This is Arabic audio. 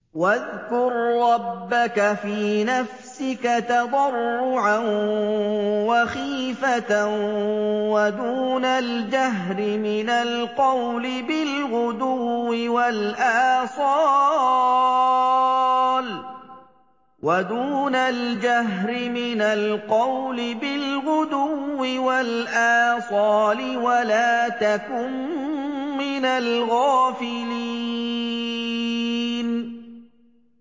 وَاذْكُر رَّبَّكَ فِي نَفْسِكَ تَضَرُّعًا وَخِيفَةً وَدُونَ الْجَهْرِ مِنَ الْقَوْلِ بِالْغُدُوِّ وَالْآصَالِ وَلَا تَكُن مِّنَ الْغَافِلِينَ